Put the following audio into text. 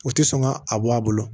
U tɛ sɔn ka a bɔ a bolo